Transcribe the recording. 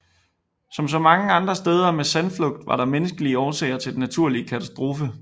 Som så mange andre steder med sandflugt var der menneskelige årsager til denne naturkatastrofe